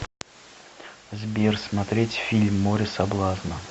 сбер смотреть фильм море соблазна